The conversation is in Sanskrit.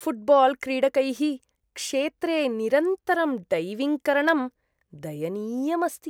फ़ुट्बाल्क्रीडकैः क्षेत्रे निरन्तरं डैविङ्ग्करणं दयनीयम् अस्ति।